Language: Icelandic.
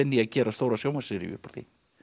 að gera stóra sjónvarpsseríu upp úr því